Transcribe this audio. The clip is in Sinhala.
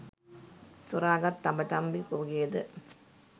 සොරාගත් තඹ කම්බි තොගයද